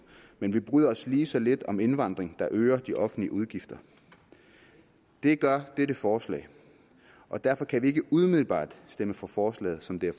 men vi bryder os lige så lidt om indvandring der øger de offentlige udgifter det gør dette forslag og derfor kan vi ikke umiddelbart stemme for forslaget som det